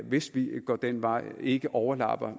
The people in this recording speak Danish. hvis vi går den vej ikke overlapper